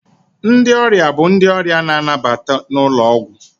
Ndị ọrịa bụ ndị ọrịa na-anabata n'ụlọ ọgwụ.